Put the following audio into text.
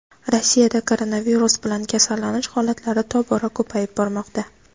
Rossiyada koronavirus bilan kasallanish holatlari tobora ko‘payib bormoqda.